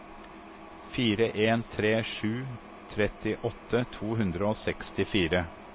fire en tre sju trettiåtte to hundre og sekstifire